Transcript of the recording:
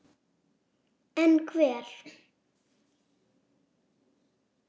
En hver?